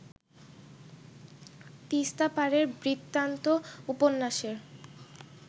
তিস্তাপারের বৃত্তান্ত উপন্যাসের